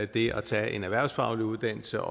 det at tage en erhvervsfaglig uddannelse